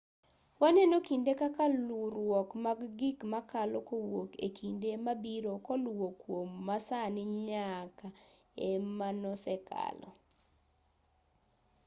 waneno kinde kaka luwruok mag gik makalo kowuok e kinde mabiro koluwo kuom masani nyake e manosekalo